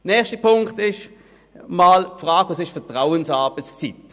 Nächster Punkt: Was ist Vertrauensarbeitszeit?